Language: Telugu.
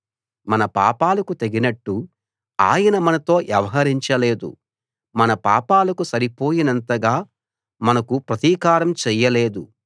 మన పాపాలకు తగినట్టు ఆయన మనతో వ్యవహరించలేదు మన పాపాలకు సరిపోయినంతగా మనకు ప్రతీకారం చేయలేదు